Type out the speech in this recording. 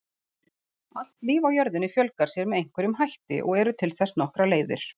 Allt líf á jörðinni fjölgar sér með einhverjum hætti og eru til þess nokkrar leiðir.